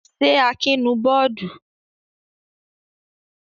Ṣé Akin nù bọ́ọ́dù?